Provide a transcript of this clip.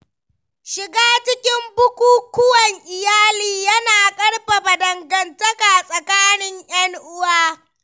Shiga cikin bukukkuwan iyali yana ƙarfafa dangantaka tsakanin ‘yan uwa.